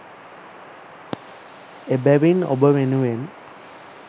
එබැවින් ඔබ වෙනුවෙන්